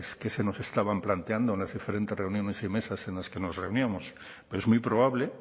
que se nos estaban planteando en las diferentes reuniones y mesas en las que nos reuníamos pero es muy probable